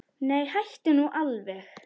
Nei, hættu nú alveg!